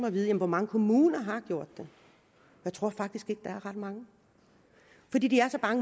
at vide hvor mange kommuner har gjort det jeg tror faktisk ikke der er ret mange